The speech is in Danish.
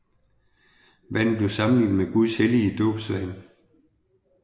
Vandet blev sammenlignet med Guds hellige dåbsvand